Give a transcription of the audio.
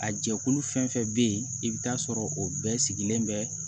A jɛkulu fɛn fɛn bɛ yen i bɛ taa sɔrɔ o bɛɛ sigilen bɛ